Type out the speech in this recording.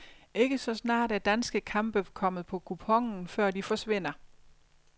Ikke så snart er danske kampe kommet på kuponen, før de forsvinder.